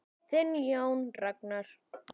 Þinn Jón Ragnar.